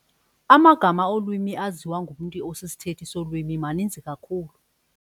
Amagama olwimi aziwa ngumntu osisithethi solwimi maninzi kakhulu.